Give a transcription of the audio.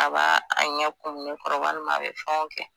A b'a a ɲɛ kumu ne kɔrɔ walima a be fɛnw kɛ